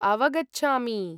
अवगच्छामि।